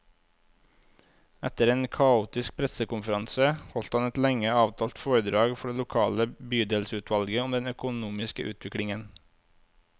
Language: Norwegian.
Etter en kaotisk pressekonferanse, holdt han et lenge avtalt foredrag for det lokale bydelsutvalget om den økonomiske utviklingen.